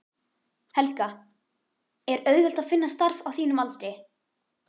Helga: Er auðvelt að finna starf á þínum aldri?